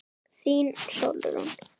Þín, Sólrún.